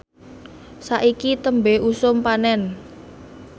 saiki tembe usum panen